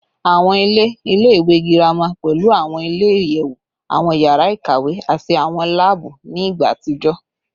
Awọn ile ile-iwe girama pẹlu awọn ile-iyẹwu, awọn yara ikawe, ati awọn laabu ni igba atijọ